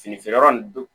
Fini feere yɔrɔ nin don